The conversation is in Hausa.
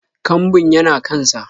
Kambun yana kan sa